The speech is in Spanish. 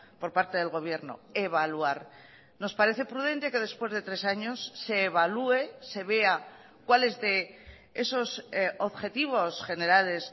por parte del gobierno evaluar nos parece prudente que después de tres años se evalúe se vea cuáles de esos objetivos generales